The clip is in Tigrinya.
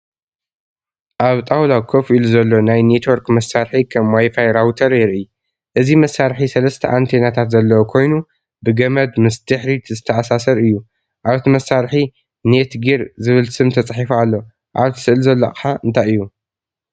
ኣብ ጣውላ ኮፍ ኢሉ ዘሎ ናይ ኔትወርክ መሳርሒ (ከም ዋይፋይ ራውተር) የርኢ። እዚ መሳርሒ ሰለስተ ኣንቴናታት ዘለዎ ኮይኑ ብገመድ ምስ ድሕሪት ዝተኣሳሰር እዩ። ኣብቲ መሳርሒ “NETGEAR” ዝብል ስም ተጻሒፉ ኣሎ። ኣብቲ ስእሊ ዘሎ ኣቕሓ እንታይ እዩ?